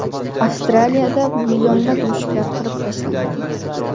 Avstraliyada millionlab mushuklar qirib tashlanadi.